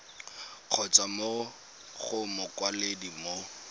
kgotsa mo go mokwaledi mo